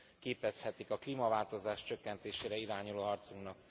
képezhetik a klímaváltozás csökkentésére irányuló harcunknak.